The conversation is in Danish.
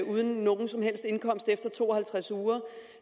uden nogen som helst indkomst efter to og halvtreds uger